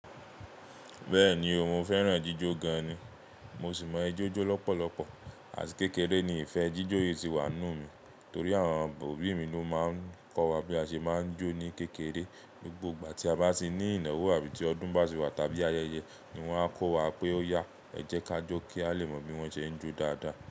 Bẹ́ẹ̀ni o, mo fẹ́ràn jíjọ gan ni. Mo sì mọ ẹjọ́ jó lọ́pọ̀lọpọ̀ àti kékeré ni ìfẹ́ jíjó yìí ti wà nínú mi torí àwọn obí mi ló máa ń kọ́ wa bí a ṣe máa ń jó ní kékeré. Gbogbo igba tí a bá ti ní ìnáwó àbí tí ọdún bá ti wá tàbí ayẹyẹ ni wọ́n a kọ́ wa pé ó yá, ẹ jẹ́ ká jó kí a lè mọ bí wọ́n ṣe ń jó dáadáa.